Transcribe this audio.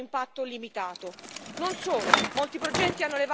Non solo, molti progetti hanno elevate emissioni impattanti.